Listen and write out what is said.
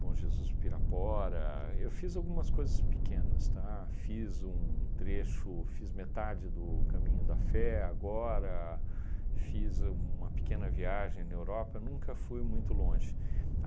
Bom Jesus de Pirapora, eu fiz algumas coisas pequenas, tá, fiz um trecho, fiz metade do caminho da fé agora, fiz uma pequena viagem na Europa, nunca fui muito longe.